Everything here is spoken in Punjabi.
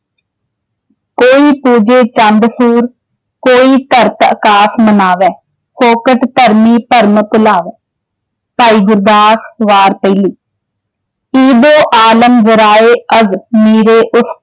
ਕੋਈ ਪੂਜੇ ਚੰਦੁ ਸੂਰੁ ਕੋਈ ਧਰਤਿ ਅਕਾਸੁ ਮਨਾਵੈ, ਫੋਕਟਿ ਧਰਮੀ ਭਰਮਿ ਭੁਲਾਵੈ। ਭਾਈ ਗੁਰਦਾਸ ਵਾਰ ਪਹਿਲੀ